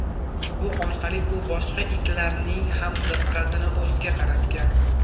Bu orqali u boshqa itlarning ham diqqatini o‘ziga qaratgan.